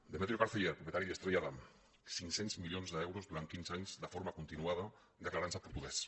demetrio carceller propietari d’estrella damm cinc cents milions d’euros durant quinze anys de forma continuada declarant se portuguès